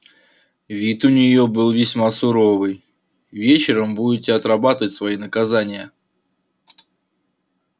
вид у неё был весьма суровый вечером будете отрабатывать свои наказания